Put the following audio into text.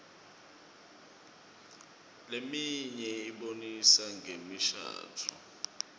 leminye ibonisa ngemishadvo